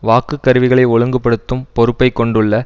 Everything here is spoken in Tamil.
வாக்கு கருவிகளை ஒழுங்குபடுத்தும் பொறுப்பை கொண்டுள்ள